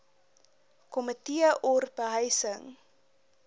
komitee or behuising